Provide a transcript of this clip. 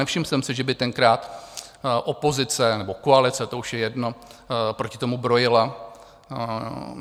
Nevšiml jsem si, že by tenkrát opozice, nebo koalice, to už je jedno, proti tomu brojila.